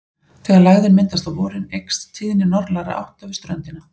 Þegar lægðin myndast á vorin eykst tíðni norðlægra átta við ströndina.